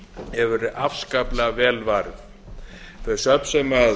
hefur verið afskaplega vel varið þau söfn sem